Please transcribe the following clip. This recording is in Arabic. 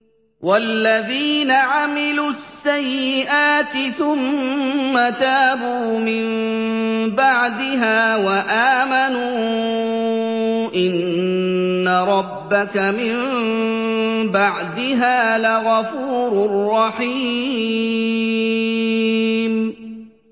وَالَّذِينَ عَمِلُوا السَّيِّئَاتِ ثُمَّ تَابُوا مِن بَعْدِهَا وَآمَنُوا إِنَّ رَبَّكَ مِن بَعْدِهَا لَغَفُورٌ رَّحِيمٌ